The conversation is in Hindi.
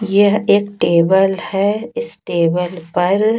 यह एक टेबल है इस टेबल पर--